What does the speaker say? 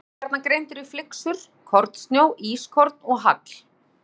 Snjór er gjarnan greindur í flyksur, kornsnjó, ískorn og hagl.